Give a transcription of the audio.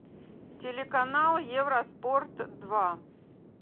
телеканал евроспорт два